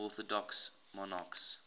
orthodox monarchs